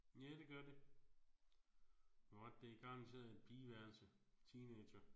Ja det gør det. Du har ret det er garanteret et pigeværelse. Teenager